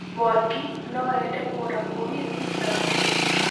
Mwangi noende kũgũra mũgithi na ndege.